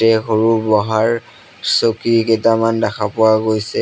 তাতে সৰু বহাৰ চকী কেইটামান দেখা পোৱা গৈছে।